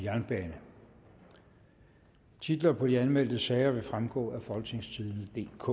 og halvfjerds titler på de anmeldte sager vil fremgå af folketingstidendedk